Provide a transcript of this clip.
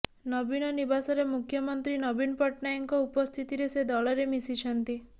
ନବୀନ ନିବାସରେ ମୁଖ୍ୟମନ୍ତ୍ରୀ ନବୀନ ପଟ୍ଟନାୟକଙ୍କ ଉପସ୍ଥିତିରେ ସେ ଦଳରେ ମିଶିଛନ୍ତି